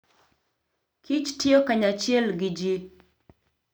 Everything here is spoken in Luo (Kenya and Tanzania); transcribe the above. kich tiyo kanyachiel gi ji.